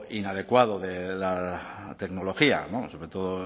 inadecuado de la tecnología sobre todo